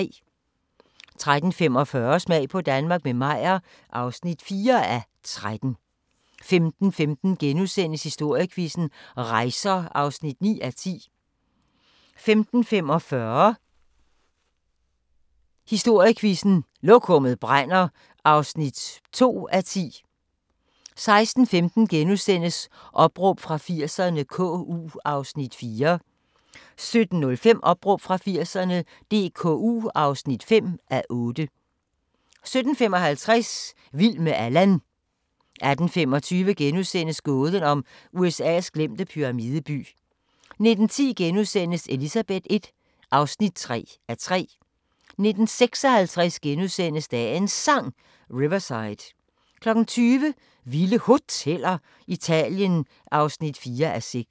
13:45: Smag på Danmark – med Meyer (4:13) 15:15: Historiequizzen: Rejser (9:10)* 15:45: Historiequizzen: Lokummet brænder (2:10) 16:15: Opråb fra 80'erne - KU (4:8)* 17:05: Opråb fra 80'erne – DKU (5:8) 17:55: Vild med Allan 18:25: Gåden om USA's glemte pyramideby * 19:10: Elizabeth I (3:3)* 19:56: Dagens Sang: Riverside * 20:00: Vilde Hoteller - Italien (4:6)